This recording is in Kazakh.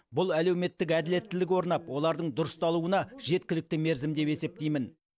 бұл әлеуметтік әділеттілік орнап олардың дұрысталуына жеткілікті мерзім деп есептеймін